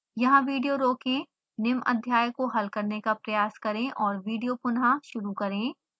यहाँ विडियो रोकें निम्न अध्याय का हल करने का प्रयास करें और विडियो पुनः शुरू करें